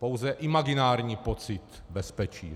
Pouze imaginární pocit bezpečí.